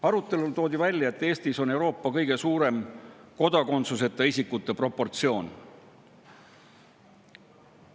Arutelul toodi välja, et Eestis on Euroopa kõige suurem kodakondsuseta isikute proportsioon.